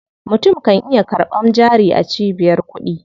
Mutum kan iya karɓan jari a cibiyar kuɗi.